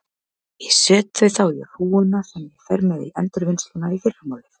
Ég set þau þá í hrúguna sem ég fer með í endurvinnsluna í fyrramálið.